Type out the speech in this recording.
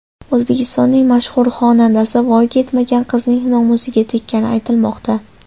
O‘zbekistonning mashhur xonandasi voyaga yetmagan qizning nomusiga teggani aytilmoqda.